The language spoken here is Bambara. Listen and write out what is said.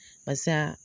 Barisa